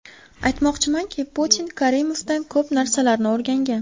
Aytmoqchimanki, Putin Karimovdan ko‘p narsalarni o‘rgangan.